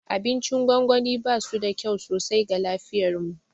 Abincin gwangwani basu da kyau sosai ga lafiyarmu.